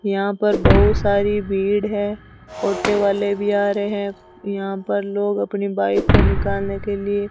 यहां पर बहुत सारी भीड़ है ऑटो वाले भी आ रहे है यहां पर लोग अपनी बाइक को निकालने के लिए --